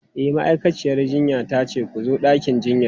E, ma'aikaciyar jinya ta ce ku zo ɗakin jinyan.